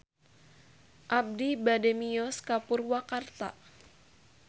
Abi bade mios ka Purwakarta